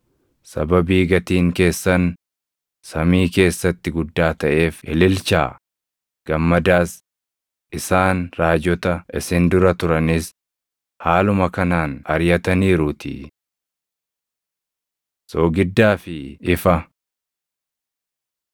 Sababii gatiin keessan samii keessatti guddaa taʼeef ililchaa; gammadaas; isaan raajota isin dura turanis haaluma kanaan ariʼataniiruutii. Soogiddaa fi Ifa